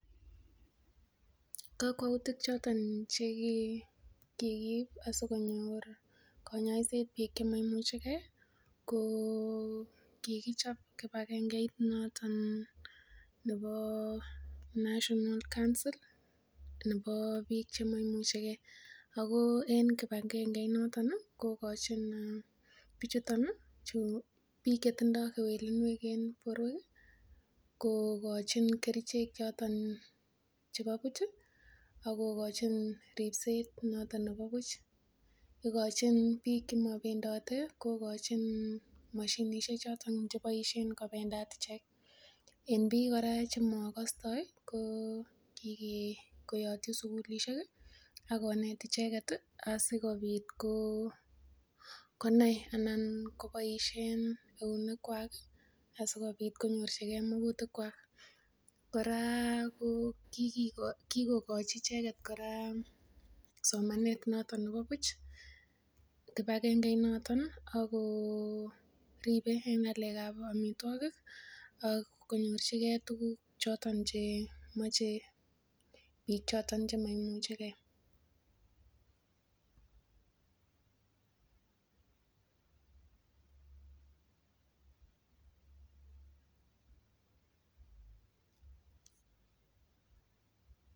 Kokwoutik choton chekikiib asikonyor konyoiset biik chemoimuchegee ko kikichop kibagengeit noton nebo national council nebo biik chemoimuchegee ako en kibagange inoton ih kokochin bichuton ih chu biik chetindoo kewelinwek en borwek kokochin kerichek choton chebo buch ih akokochin ripset noton nebo buch, igochin biik chemobendote kokochin moshinisiek choton chekochin kobendat ichek en biik kora chemokostoi ko kike koyotyi sukulisiek ih ak konet icheket ih asikobit konai ana koboisien eunek kwak asikobit konyorchigee mokutik kwak. Kora kikochi icheket kora somanet noton nebo buch kibagange noton ako ribe en ng'alek ab amitwogik ak konyorchigee tuguk choton chemoche biik choton chemoimuchegee